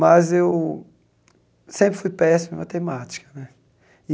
Mas eu sempre fui péssimo em matemática né.